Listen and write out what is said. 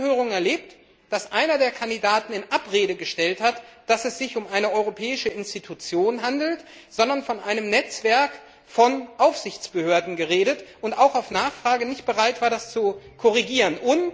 Wir haben in den Anhörungen erlebt, dass einer der Kandidaten in Abrede gestellt hat, dass es sich um eine europäische Institution handelt, sondern von einem Netzwerk von Aufsichtsbehörden geredet hat, und auch auf Nachfrage nicht bereit war, das zu korrigieren.